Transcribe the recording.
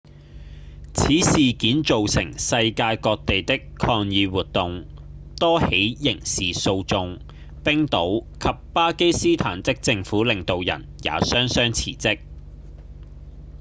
此事件造成世界各地的抗議活動、多起刑事訴訟冰島及巴基斯坦的政府領導人也雙雙辭職